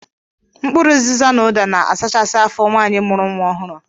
Mkpụrụ uziza na ụda na-asachasi afọ nwaanyị mụrụ nwa ọhụrụ.